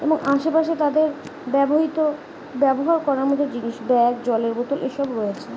এবং আশেপাশে তাদের ব্যাবহৃত ব্যবহার করার মতো জিনিস ব্যাগ জলের বোতল এসব রয়েছে।